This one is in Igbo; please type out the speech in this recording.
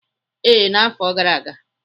Ee, n'afọ gara aga.